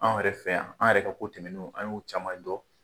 Anw yɛrɛ fɛ yan, an yɛrɛ ka ko tɛmɛnew an y'u caman dɔ